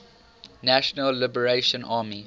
national liberation army